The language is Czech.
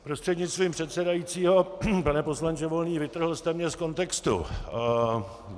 Prostřednictvím předsedajícího pane poslanče Volný, vytrhl jste mě z kontextu.